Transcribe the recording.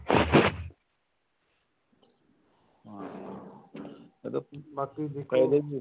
ਇਹਦਾ ਬਾਕੀ ਜੇ ਕਹਿਦੋ ਜੀ